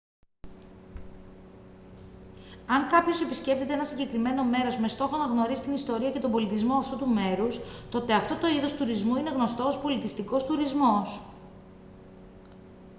αν κάποιος επισκέπτεται ένα συγκεκριμένο μέρος με στόχο να γνωρίσει την ιστορία και τον πολιτισμό αυτού του μέρους τότε αυτό το είδος τουρισμού είναι γνωστό ως πολιτιστικός τουρισμός